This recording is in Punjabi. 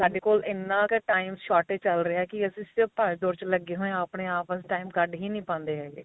ਸਾਡੇ ਕੋਲ ਇੰਨਾ ਕ time shortage ਚੱਲ ਰਿਹਾ ਕੀ ਅਸੀਂ ਉਸ ਚ ਭੱਜ ਦੋੜ ਚ ਲੱਗੇ ਹੋਏ ਆ ਆਪਣੇ ਆਪ time ਕੱਢ ਹੀ ਨੀ ਪਾਂਦੇ ਹੈਗੇ